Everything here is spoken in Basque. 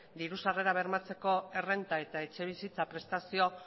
diru sarrera bermatzeko errenta eta etxebizitza prestazio